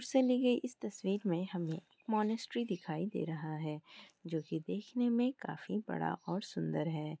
दूर से ली गई तस्वीर में एक मॉनेस्ट्री दिखाई दे रहा है। जो की देखने में बड़ा और सुंदर है।